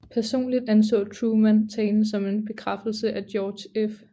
Personligt anså Truman talen som en bekræftelse af George F